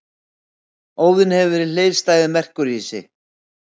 Óðinn hefur verið hliðstæður Merkúríusi.